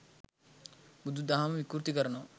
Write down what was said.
බුදු දහම විකෘති කරනවා